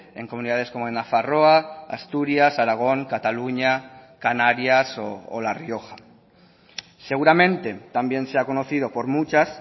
en comunidades como en nafarroa asturias aragón cataluña canarias o la rioja seguramente también sea conocido por muchas